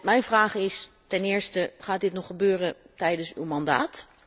Mijn vraag is, ten eerste, gaat dit nog gebeuren tijdens uw mandaat?